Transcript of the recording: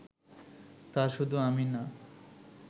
তা শুধু আমি না